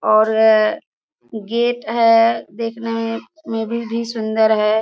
और गेट है देखने में में भी भी सुंदर है।